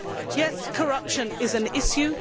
Yes, corruption is an issue.